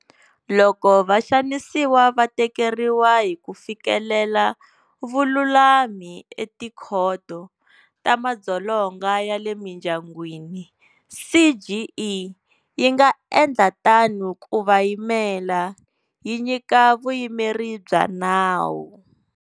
Loko vaxanisiwa va tikeriwa hi ku fikelela vululami eTikhoto ta Madzolonga ya le Mindyangwini, CGE yi nga endla tano ku va yimela, yi nyika vuyimeri bya nawu.